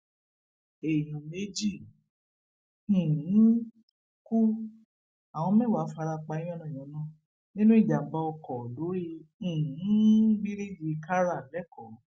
èèyàn méjì um ku àwọn mẹwàá fara pa yánnayànna nínú ìjàmbá mọtò lórí um bíríìjì kára lẹkọọ